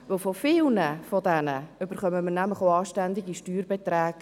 Von vielen dieser Menschen bekommen wir Ende Jahr auch anständige Steuerbeträge.